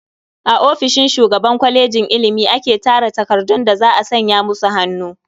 A ofishin shugaban kwalejin ilimi ake tara takardun da za a sanya musu hannu.